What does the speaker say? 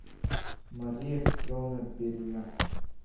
мария петровна берина